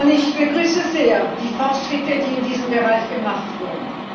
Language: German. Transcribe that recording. Ich begrüße sehr die Fortschritte, die in diesem Bereich gemacht wurden.